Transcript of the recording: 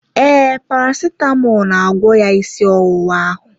Ee, parasitamọl na-agwọ ya ịsị ọwụwa ahụ